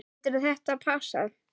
Getur þetta passað?